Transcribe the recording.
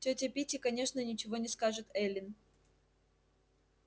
тётя питти конечно ничего не скажет эллин